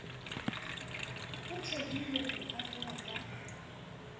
ho thehilwe ho arolwa ha